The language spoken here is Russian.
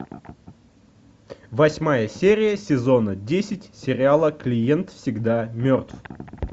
восьмая серия сезона десять сериала клиент всегда мертв